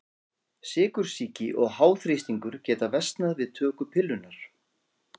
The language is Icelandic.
Sykursýki og háþrýstingur geta versnað við töku pillunnar.